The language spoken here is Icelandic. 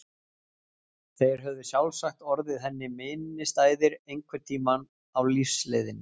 Þeir höfðu sjálfsagt orðið henni minnisstæðir einhvern tíma á lífsleiðinni.